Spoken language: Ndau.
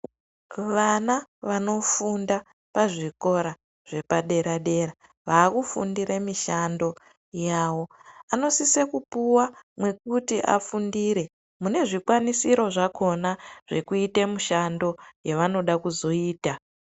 Vana vanofunda pazvikora zvepadera dera vakufunde mishando yavo vanosise kupuwa mekuti afundire mune zvikwanisiro zvakona zvekuite mishando yevanoda kuzoita.